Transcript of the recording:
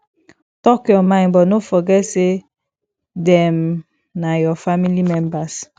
talk your mind but no forget say dem na your family members